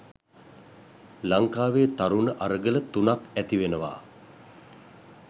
ලංකාවේ තරුණ අරගල තුනක් ඇතිවෙනවා